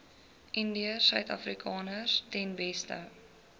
indiërsuidafrikaners ten beste